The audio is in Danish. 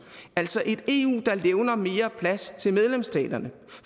altså et eu der levner mere plads til medlemsstaterne